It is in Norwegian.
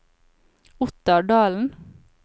Ottar Dahlen